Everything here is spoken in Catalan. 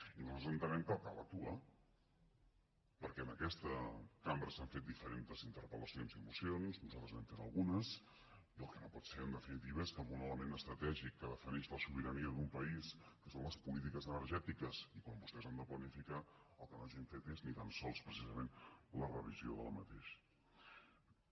i nosaltres entenem que cal actuar perquè en aquesta cambra s’han fet diferents interpel·lacions i mocions nosaltres n’hem fet algunes i el que no pot ser en definitiva és que en un element estratègic que defineix la sobirania d’un país que són les polítiques energètiques i quan vostès han de planificar el que no hagin fet és ni tan sols precisament la revisió d’aquest